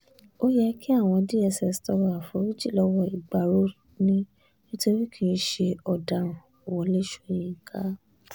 ó yẹ káwọn dss tọrọ àforíjì lọ́wọ́ ìgbárò ni nítorí kì í ṣe ọ̀daràn- wọlé sọ̀yìnkà